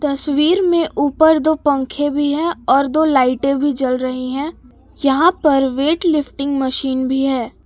तस्वीर में ऊपर दो पंखे भी हैं और दो लाइटें भी जल रहीं हैं यहां पर वेट लिफ्टिंग मशीन भी है।